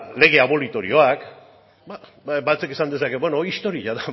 lege abolitorioak batek esan dezake beno hori historia da